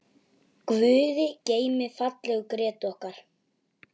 Guði geymi fallegu Grétu okkar.